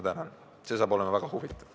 See saab olema väga huvitav.